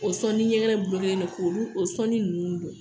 O sɔn ni ɲɛkɛnɛ don k'olu o sɔnni nunnu don.